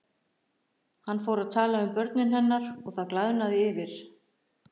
Hann fór að tala um börnin hennar og það glaðnaði yfir